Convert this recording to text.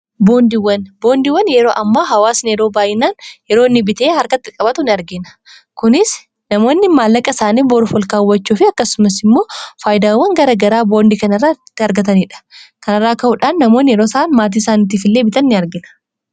boondiiwan yeroo ammaa hawaa sineroo baayyinaan yeroonni bitee harkatti qabatu in argina kunis namoonni maallaqa isaanii borufolkaawwachuu fi akkasumas immoo faayidaawwan garagaraa boondii kanaarraa itti argataniidha kanarraa ka'uudhaan namoonni yeroo isaa maatii isaanitti fillee bitan in argina